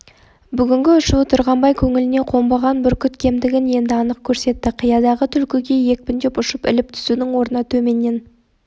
бүгінгі ұшуы тұрғанбай көңіліне қонбаған бүркіт кемдігін енді анық көрсетті қиядағы түлкіге екпіндеп ұшып іліп түсудің орнына төменнен